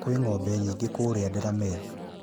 Kwĩ ng'ombe nyingĩ kũũrĩa Delamere